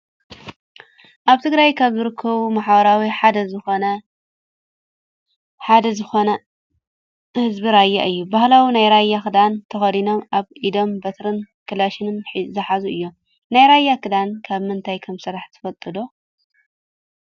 ኣብ ትግራይ ካብ ዝርከቡ ማሕበረሰብ ሓደ ዝኮነ ህዝቢ ራያ እዩ። ባህላዊ ናይ ራያ ክዳን ተከዲኖም ኣብ ኢዶም በትርን ካላሽንን ዝሓዙ እዮም። ናይ ራያ ክዳን ካብ ምንታይ ከምዝስራሕ ትፈልጡ ዶ ?